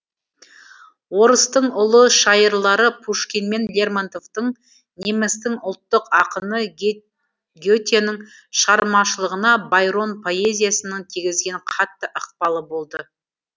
орыстың ұлы шайырлары пушкин мен лермонтовтың немістің ұлттық ақыны гетенің шығармашылығына байрон поэзиясының тигізген қатты ықпалы болды